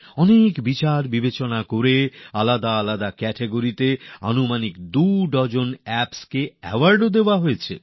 অনেক বিচার বিশ্লেষণের পরআলাদা আলাদা ক্যাটাগরি বা পর্যায়ে প্রায় দু ডজন অ্যাপকে পুরস্কার দেওয়া হয়েছে